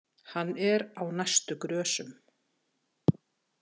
Hann er á næstu grösum.